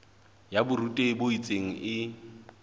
ya borutehi bo itseng e